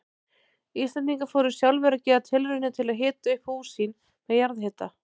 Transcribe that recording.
Íslendingar fóru sjálfir að gera tilraunir til að hita upp hús sín með jarðhita.